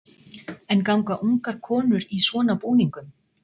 En ganga ungar konur í svona búningum?